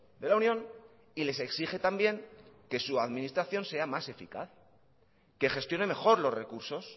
de la unión y les exige también que su administración sea más eficaz que gestione mejor los recursos